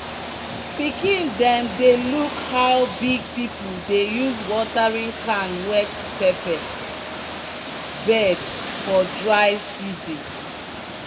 "pikin dem dey look how big people dey use watering can wet pepper bed for dry season."